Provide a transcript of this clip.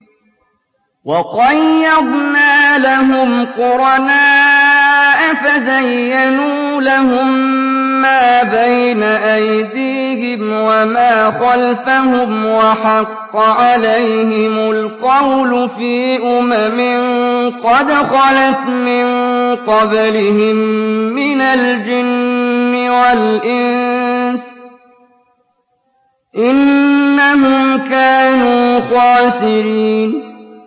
۞ وَقَيَّضْنَا لَهُمْ قُرَنَاءَ فَزَيَّنُوا لَهُم مَّا بَيْنَ أَيْدِيهِمْ وَمَا خَلْفَهُمْ وَحَقَّ عَلَيْهِمُ الْقَوْلُ فِي أُمَمٍ قَدْ خَلَتْ مِن قَبْلِهِم مِّنَ الْجِنِّ وَالْإِنسِ ۖ إِنَّهُمْ كَانُوا خَاسِرِينَ